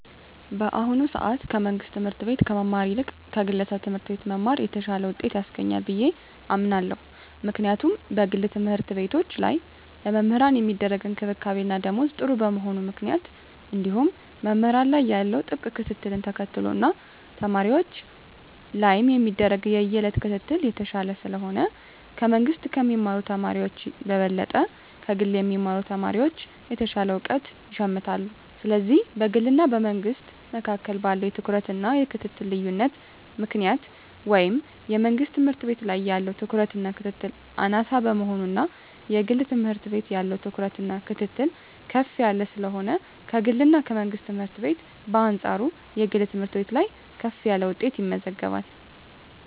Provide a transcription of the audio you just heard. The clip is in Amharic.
በአሁኑ ሰአት ከመንግስት ትምህርት ቤት ከመማር ይልቅ ከግለሰብ ትምህርት ቤት መማር የተሻለ ውጤት ያስገኛል ብየ አምናለው ምክንያቱም በግል ተምህርትቤቶች ላይ ለመምህራን ሚደረግ እንክብካቤና ደሞዝ ጥሩ በመሆኑ ምክንያት እንዲሁም መምህራን ላይ ያለው ጥብቅ ክትትልን ተከትሎ እና ተማሪወች ላይም የሚደረግ የየእለት ክትትል የተሻለ ስለሆነ ከመንግስ ከሚማሩ ተማሪወች በበለጠ ከግል የሚማሩ ተማሪወች የተሻለ እውቀት ይሸምታሉ ስለዚህ በግልና በመንግስ መካከል ባለው የትኩረትና የክትትል ልዮነት ምክንያት ወይም የመንግስት ትምህርት ቤት ላይ ያለው ትኩረትና ክትትል አናሳ በመሆኑና የግል ትምህርት ቤት ያለው ትኩረትና ክትትል ከፍ ያለ ስለሆነ ከግልና ከመንግስት ትምህርት ቤት በአንጻሩ የግል ትምህርት ቤት ላይ ከፍ ያለ ውጤት ይመዘገባል።